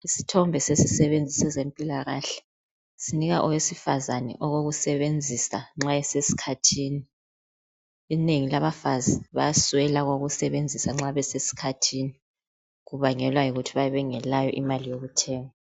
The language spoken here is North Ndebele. Isithombe esesisebenzisa ezempilakahle sinika owesifazana okokusebenzisa nxa esesikhathini inengi labafazi bayaswela okokusebenzisa nxa besesikhathini kubangelwa yikuthi bayabe bengelayo imali yokuthenga.